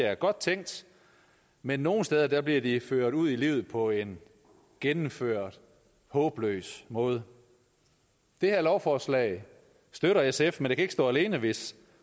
er godt tænkt men nogle steder bliver de ført ud i livet på en gennemført håbløs måde det her lovforslag støtter sf men det kan ikke stå alene hvis